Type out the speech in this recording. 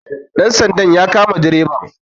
dansandan ya kama dreban